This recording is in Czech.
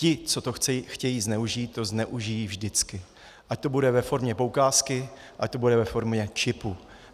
Ti, co to chtějí zneužít, to zneužijí vždycky, ať to bude ve formě poukázky, ať to bude ve formě čipu.